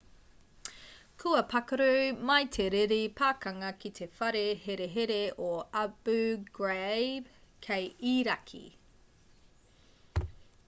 kua pakaru mai te riri pakanga ki te whare herehere o abu ghraib kei irāki